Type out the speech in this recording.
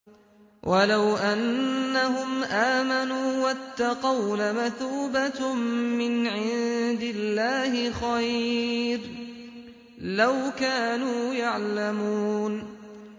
وَلَوْ أَنَّهُمْ آمَنُوا وَاتَّقَوْا لَمَثُوبَةٌ مِّنْ عِندِ اللَّهِ خَيْرٌ ۖ لَّوْ كَانُوا يَعْلَمُونَ